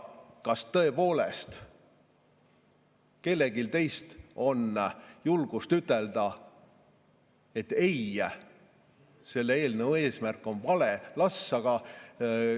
Kas tõepoolest kellelgi teist on julgust ütelda, et ei, selle eelnõu eesmärk on vale?